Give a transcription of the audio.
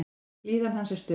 Líðan hans er stöðug.